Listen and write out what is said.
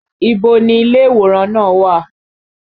Ibo ni ilé ìwòran náà wà?